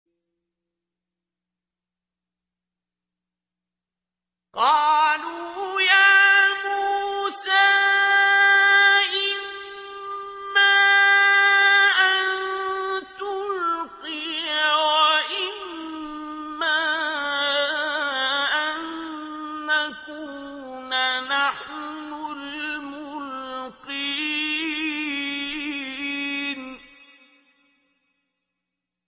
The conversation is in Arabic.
قَالُوا يَا مُوسَىٰ إِمَّا أَن تُلْقِيَ وَإِمَّا أَن نَّكُونَ نَحْنُ الْمُلْقِينَ